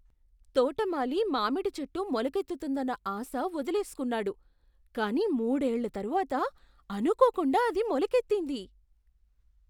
తోటమాలి మామిడి చెట్టు మొలకెత్తుతుందన్న ఆశ వదిలేసుకున్నాడు, కానీ మూడేళ్ళ తరువాత అనుకోకుండా అది మొలకెత్తింది.